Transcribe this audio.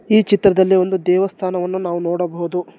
ಈ ಚಿತ್ರದಲ್ಲಿ ಒಂದು ದೇವಸ್ಥಾನವನ್ನು ನಾವು ನೋಡಬಹುದು.